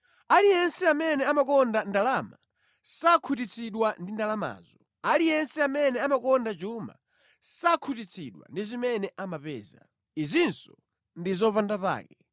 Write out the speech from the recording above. Aliyense amene amakonda ndalama sakhutitsidwa ndi ndalamazo; aliyense amene amakonda chuma sakhutitsidwa ndi zimene amapeza. Izinso ndi zopandapake.